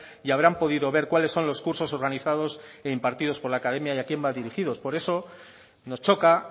y habrán podido ver cuáles son los cursos organizados e impartidos por la academia y a quién van dirigidos por eso nos choca